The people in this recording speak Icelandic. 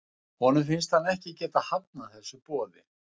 Honum finnst hann ekki geta hafnað þessu boði.